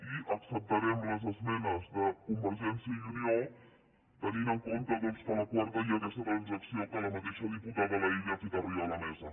i acceptarem les esmenes de convergència i unió tenint en compte doncs que a la quarta hi ha aquesta transacció que la mateixa diputada laïlla ha fet arribar a la mesa